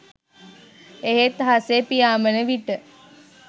එහෙත් අහසේ පියාඹන විට